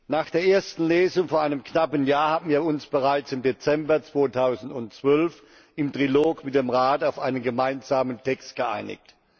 Nach der ersten Lesung vor einem knappen Jahr haben wir uns bereits im Dezember 2012 im Trilog mit dem Rat auf einen gemeinsamen Text geeinigt.